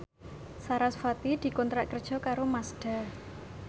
sarasvati dikontrak kerja karo Mazda